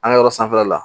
An ka yɔrɔ sanfɛla la